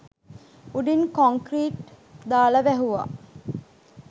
උඩින් කොන්කී්‍රට් දාලා වැහුවා